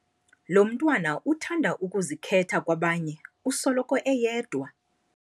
Lo mntwana uthanda ukuzikhetha kwabanye usoloko eyedwa.